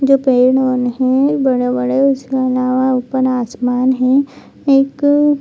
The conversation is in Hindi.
जो पेड़ है बड़े-बड़े उसके अलवा ऊपर खुला आसमान है एक --